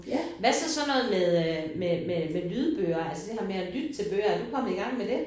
Hvad så sådan noget med øh med med med lydbøger altså det her med at lytte til bøger er du kommet i gang med det?